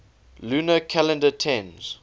lunar calendar tends